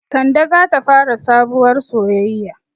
Kande zata fara sabuwar soyaya